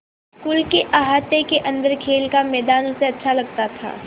school के अहाते के अन्दर खेल का मैदान उसे अच्छा लगता था